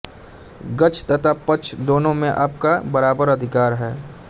गद्य तथा पद्य दोनों में आपका बराबर अधिकार है